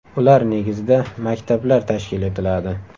Ular negizida maktablar tashkil etiladi.